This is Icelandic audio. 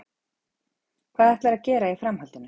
Hvað ætlarðu að gera í framhaldinu?